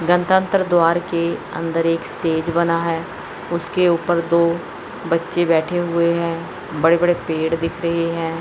गड़तंत्र द्वार के अंदर एक स्टेज बना है उसके ऊपर दो बच्चे बैठे हुए हैं बड़े बड़े पेड़ दिख रहे हैं।